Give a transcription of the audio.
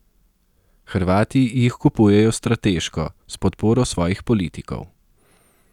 Hrvati jih kupujejo strateško, s podporo svojih politikov.